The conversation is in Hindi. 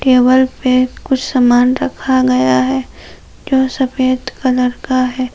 टेबल पे कुछ सामान रखा गया है जो सफेद कलर का है।